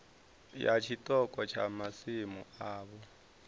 ya tshiṱoko tsha masimu avho